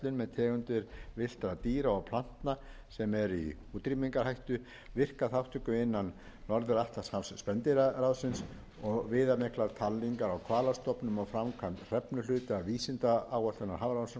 tegundir villtra dýra og plantna sem eru í útrýmingarhættu virka þátttöku innan norður atlantshafs sjávarspendýraráðsins og viðamiklar talningar á hvalastofnum og framkvæmd hrefnuhluta vísindaáætlunar hafrannsóknastofnunar það var síðan